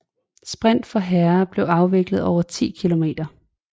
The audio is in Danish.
Sprint for herrer bliver afviklet over 10 km